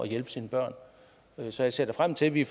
hjælpe sine børn så jeg ser da frem til at vi